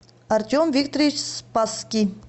артем викторович спасский